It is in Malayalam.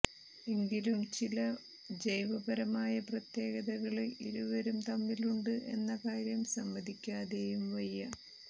എങ്കിലും ചില ജൈവപരമായ പ്രത്യേകതകള് ഇരുവരും തമ്മിലുണ്ട് എന്ന കാര്യം സമ്മതിക്കാതെയും വയ്യ